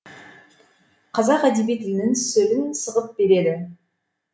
қазақ әдеби тілінің сөлін сығып береді